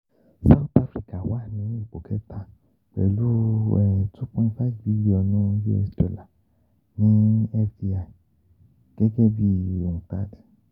South Africa wà ní ipò kẹta pẹ̀lú um two point five bilionu US dollar ní FDI gẹ́gẹ́ bí UNCTAD